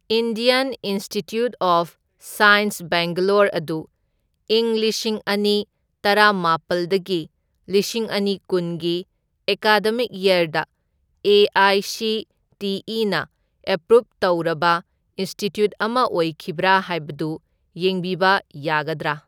Indian institute of science Bangalore ꯑꯗꯨ ꯢꯪ ꯂꯤꯁꯤꯡ ꯑꯅꯤ ꯇꯔꯥꯃꯥꯄꯜꯗꯒꯤ ꯂꯤꯁꯤꯡ ꯑꯅꯤꯀꯨꯟꯒꯤ ꯑꯦꯀꯥꯗꯃꯤꯛ ꯌꯔꯗ ꯑꯦ.ꯑꯥꯏ.ꯁꯤ.ꯇꯤ.ꯏ.ꯅ ꯑꯦꯄ꯭ꯔꯨꯞ ꯇꯧꯔꯕ ꯏꯟꯁꯇꯤꯇ꯭ꯌꯨꯠ ꯑꯃ ꯑꯣꯏꯈꯤꯕ꯭ꯔꯥ ꯍꯥꯏꯕꯗꯨ ꯌꯦꯡꯕꯤꯕ ꯌꯥꯒꯗ꯭ꯔꯥ?